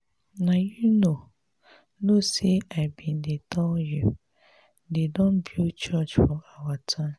you know you know say i bin dey tell you. dey don build church for our town.